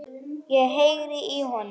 Ég heyrði í honum!